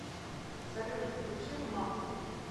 салют включи макф